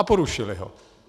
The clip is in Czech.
A porušili ho.